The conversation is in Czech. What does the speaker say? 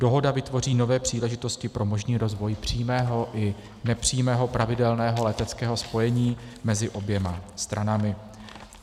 Dohoda vytvoří nové příležitosti pro možný rozvoj přímého i nepřímého pravidelného leteckého spojení mezi oběma stranami.